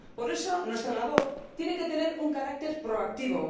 Por eso nuestra labor tiene que tener un carácter proactivo.